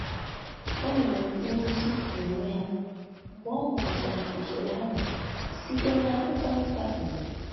O mere nrụzi na onwe ha mgbe ọ mụtachara usoro ahụ site na akwụkwọ nta obodo